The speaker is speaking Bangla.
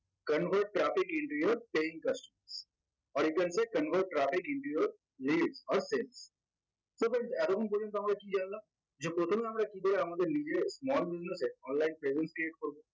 convert traffic into your paying or you can say convert traffic into your so friends এতক্ষন পর্যন্ত আমরা কি জানলাম? যে প্রথমে আমরা কিভাবে আমাদের নিজেদের small business এ online presence create করবো